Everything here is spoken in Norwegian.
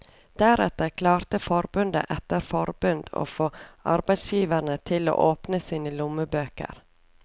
Deretter klarte forbund etter forbund å få arbeidsgiverne til å åpne sine lommebøker.